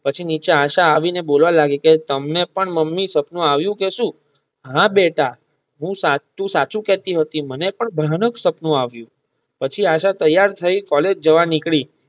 પછી નીચે આશા આવી ને બોલવા લાગી કે તમને પણ મમ્મી સપનું આવ્યુ કે સુ હા બેટા તું સાચું કહેતી હતી મને પણ ભયાનક સપનું આવ્યુ પછી આશા તૈયાર થાય કૉલેજ જવા નીકળી